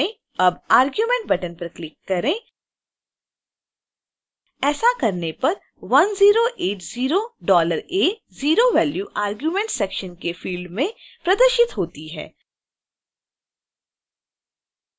अब add argument button पर click करें